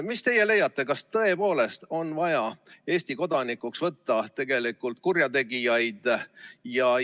Kas teie arvates on tõepoolest vaja Eesti kodanikuks võtta kurjategijaid?